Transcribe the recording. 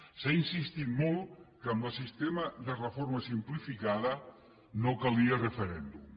s’ha insistit molt que amb el sistema de reforma simplificada no calia referèndum